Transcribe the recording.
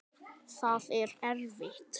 Það er erfitt.